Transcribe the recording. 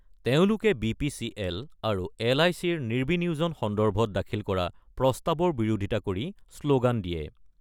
তেওঁলোকে B P C L আৰু L I চিৰ নিৰ্বিনিয়োজন সন্দৰ্ভত দাখিল কৰা প্ৰস্তাৱৰ বিৰোধিতা কৰি শ্লোগান দিয়ে।